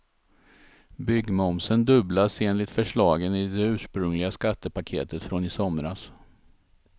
Byggmomsen dubblas enligt förslagen i det ursprungliga skattepaketet från i somras.